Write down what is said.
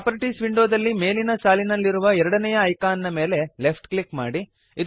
properties ವಿಂಡೋದಲ್ಲಿ ಮೇಲಿನ ಸಾಲಿನಲ್ಲಿರುವ ಎರಡನೆಯ ಐಕಾನ್ ನ ಮೇಲೆ ಲೆಫ್ಟ್ ಕ್ಲಿಕ್ ಮಾಡಿರಿ